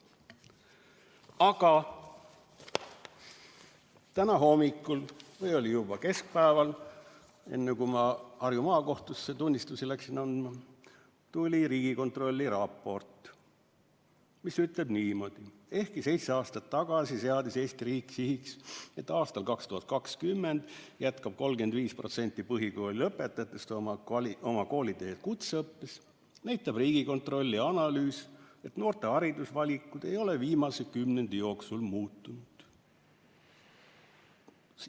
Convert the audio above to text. Aga täna hommikul, või oli see juba keskpäeval, enne kui ma Harju Maakohtusse tunnistusi läksin andma, tuli Riigikontrolli raport, mis ütleb niimoodi: "Ehkki seitse aastat tagasi seadis Eesti riik sihiks, et 2020. aastaks jätkab 35% põhikooli lõpetajatest oma kooliteed kutseõppes, näitab Riigikontrolli analüüs, et noorte haridusvalikud ei ole viimase kümnendi jooksul muutunud.